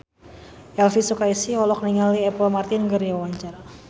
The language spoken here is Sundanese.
Elvi Sukaesih olohok ningali Apple Martin keur diwawancara